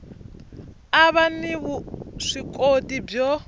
a va ni vuswikoti byo